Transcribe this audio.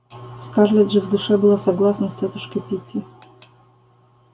скарлетт же в душе была согласна с тётушкой питти